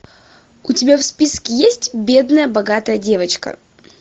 у тебя в списке есть бедная богатая девочка